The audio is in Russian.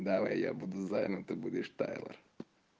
давай я буду зайном ты будешь тайлор